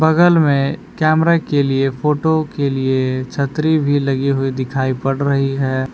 बगल में कैमरा के लिए फोटो के लिए छतरी भी लगी हुई दिखाई पड़ रही है।